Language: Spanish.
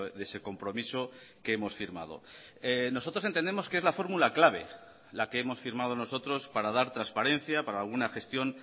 de ese compromiso que hemos firmado nosotros entendemos que es la fórmula clave la que hemos firmado nosotros para dar transparencia para alguna gestión